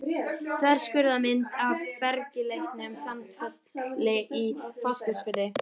Þverskurðarmynd af bergeitlinum Sandfelli í Fáskrúðsfirði.